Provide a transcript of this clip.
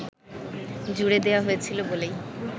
জুড়ে দেওয়া হয়েছিল বলেই